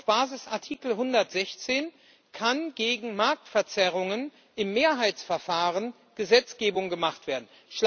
Auf Basis von Artikel 116 kann gegen Marktverzerrungen im Mehrheitsverfahren Gesetzgebung gemacht werden.